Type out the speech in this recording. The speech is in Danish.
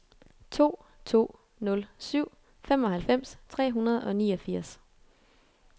to to nul syv femoghalvfems tre hundrede og niogfirs